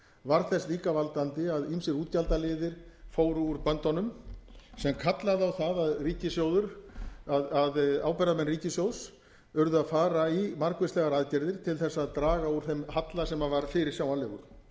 varð þess líka valdandi að ýmsir útgjaldaliðir fóru úr böndunum sem kallaði á það að ábyrgðarmenn ríkissjóðs urðu að fara í margvíslegar aðgerðir til þess að draga úr þeim halla sem var fyrirsjáanlegur